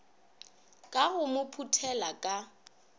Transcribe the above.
ka go mo phuthela ka